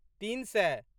तीन सए